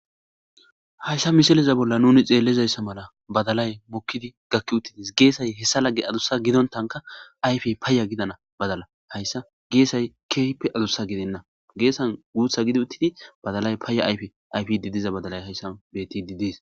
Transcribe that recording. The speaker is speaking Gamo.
Hayssa misileza bolla nuni xeellizayssa mala badalay mukkidi gakki uttidis geesay hessa lagge adussa gidontanka ayfe paya gidana badala hayssa geesay keehippe adussa gidenna geesan guutha gidi uttidi badalay paya ayfe ayf didiza badalay hayssan beti didies.